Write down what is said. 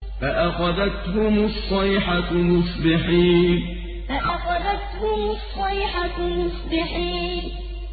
فَأَخَذَتْهُمُ الصَّيْحَةُ مُصْبِحِينَ فَأَخَذَتْهُمُ الصَّيْحَةُ مُصْبِحِينَ